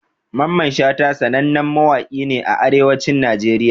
Mamman Shata sanannen mawaki ne a arewacin Najeriya